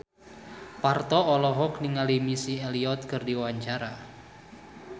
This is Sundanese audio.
Parto olohok ningali Missy Elliott keur diwawancara